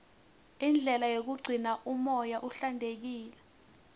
indlela yokugcina umoya uhlantekile